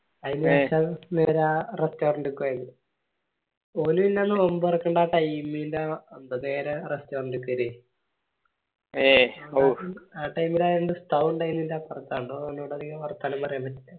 അയിന് ശേഷം നേരെ restaurant ൻറക്ക് പോയേനെ ഒന് ഇന്ന് നോമ്പ് തൊറക്കണ്ട കൈനില്ല വേഗം restaurant കേറീന് ആ time ഇലായാണ്ട് ഉസ്താദ് ഇൻഡയെല്ലതോണ്ട് ഓനോട്‌ അധികം വർത്താനം പറ്റീല